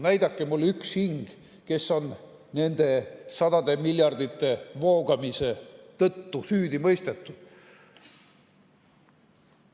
Näidake mulle üks hing, kes on nende sadade miljardite voogamise eest süüdi mõistetud.